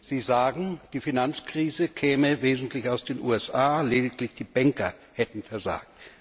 Sie sagen, die Finanzkrise käme im Wesentlichen aus den USA, lediglich die Banker hätten versagt.